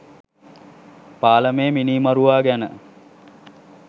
පාලමේ මිනිමරුවා ගැන